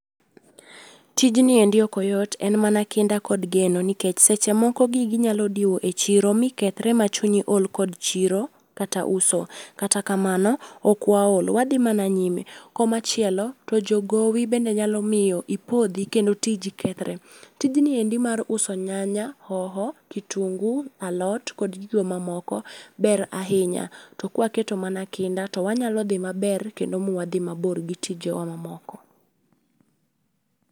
Tijni endi ok oyot, en mana kinda kod geno nikech seche moko gigi nyalo diwo e chiro mi kethre ma chunyi ol kod chiro kod uso kata kamano, ok waol, wadhi mana nyime. Komachielo to jo gowi bende nyalo miyo ipodhi kendo tiji kethre. Tijni endi mar uso nyanya, hoho, kitunguu, alot kod gigo mamoko, ber ahinya. To kwaketo mana kinda to wanyalo dhi maber kendo muwadhi mabor gi tijewa mamoko